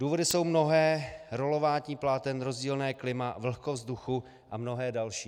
Důvody jsou mnohé - rolování pláten, rozdílné klima, vlhkost vzduchu a mnohé další.